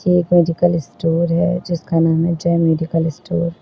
एक medical store है जिसका नाम है जय मेडिकल स्टोर ।